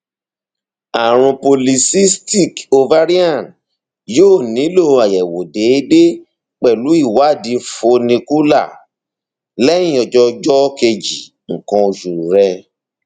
ààrùn polycystic ovarian yóò nílò àyẹwò déédéé pẹlú ìwádìí follicular lẹyìn ọjọ ọjọ kejì nǹkan oṣù rẹ